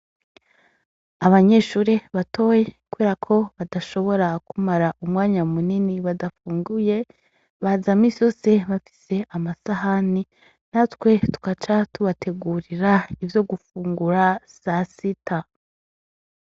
Abanyeshure batoyi kubera ko badashobora kumara umwanya munini badafunguye, baza misi yose bafise amasahani natwe tugaca tubategurira ivyo gufungura sasita.